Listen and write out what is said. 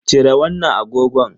Cire wannan agogon.